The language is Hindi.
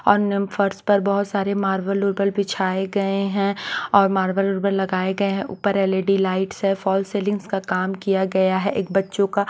और निमफर्स पर बहुत सारे मार्बल उर्बल बिछाए गए हैंऔर मार्बल रुबल लगाए गए हैं ऊपर एल_ई_डी लाइट्स है फॉल सेलिंग्स का काम किया गया है एक बच्चों का--